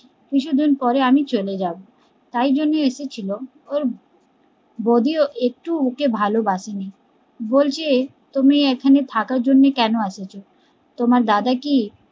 কিছুদিন পরে আমি চলে যাবো তাই জন্য এসেছিলো ওর বৌদিও একটু ও ওকে ভালবাসেনি বলছে তুমি এখানে থাকার জন্য কেন এসেছো তোমার দাদা কি